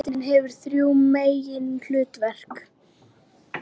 Nefndin hefur þrjú meginhlutverk.